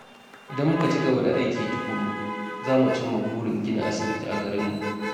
Idan muka ci gaba da aiki tukuru, za mu cimma burin gina asibiti a garinmu.